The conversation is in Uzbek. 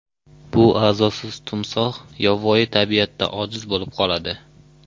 Bu a’zosiz timsoh yovvoyi tabiatda ojiz bo‘lib qoladi.